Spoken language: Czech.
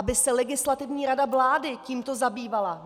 Aby se Legislativní rada vlády tímto zabývala.